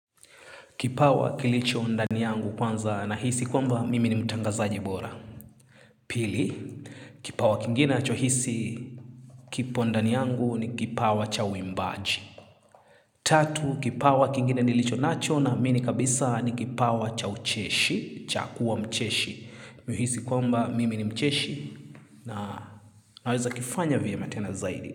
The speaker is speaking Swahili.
Kipawa kilicho ndani yangu kwanza na hisi kwamba mimi ni mutangaji bora. Pili, kipawa kingine nacho hisi kipo ndani yangu ni kipawa cha uimbaji. Tatu, kipawa kingine nilicho nacho n mini kabisa ni kipawa cha ucheshi, cha kuwa mcheshi. Nahisi kwamba mimi ni mcheshi na naweza kifanya vyema tena zaidi.